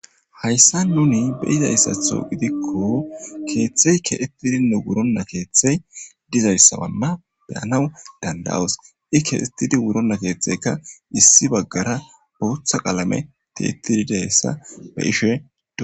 Haysan nuni beyizaysatho kethi kexetidine wurona kethiy dizaysa beyas dandayos i kexetidi wurona ketheyka issi bagara botha qalamey tiyetidi dizaysa beshe dos